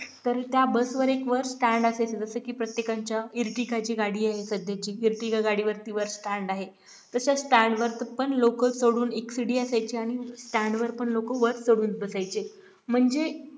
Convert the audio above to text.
तर त्या बसवर एक वर stand असेल जसं की प्रत्येकांच्या ईरटीकाची गाडी आहे सध्याची इरतिका गाडीवरती वर stand आहे तसेच stand वर तर पण लोक चढून एक सीढि असायची आणि stand वर पण लोक वर चढून बसायचे म्हणजे